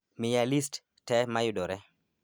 miya list te mayudore